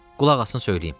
Qulaq asın söyləyim.